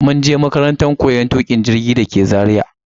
mun je makarantan koyon tukin jirgi dake Zaria.